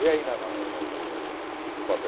Vê aí na na no no papel